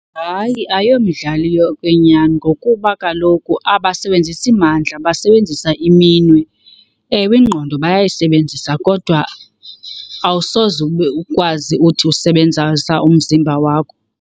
Hayi, ayomidlali yokwenyani ngokuba kaloku abasebenzisi mandla basebenzisa iminwe. Ewe, ingqondo bayayisebenzisa kodwa awusoze ube ukwazi uthi usebenzisa umzimba wakho.